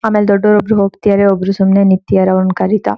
ಆಮೇಲ್ ದೊಡ್ಡೋರ್ ಒಬ್ರು ಹೋಗತಿದ್ದರೆ ಒಬ್ಬರು ಸುಮ್ನೆ ನಿಂತಿದ್ದಾರೆ ಅವ್ರ್ನ ಕರೀತಾ .